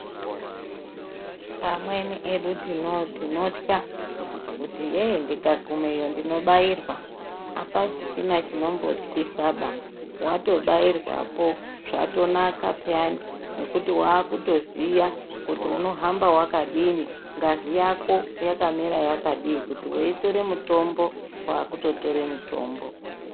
Amweni edu tinotya kuti ye ndikagumeyo ndinobairwa, hapasisina chinombotyisaba, watobairwapo zvatonaka peyani nekuti wakutoziya kuti unohamba wakadini, ngazi yako yakamira yakadii kuti weitore mitombo kwakutotore mitombo.